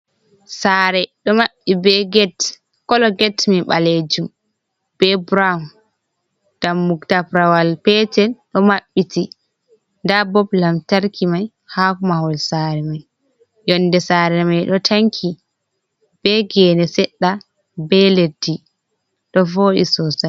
Sare do mabbi be get kolo get mai balejum be buraw dammugal tabrawal petel ɗo maɓɓiti da bop lamtarki mai ha mahol sare mai yonɗe sare mai ɗo tanki be gene sedda be leddi do vodi sosai.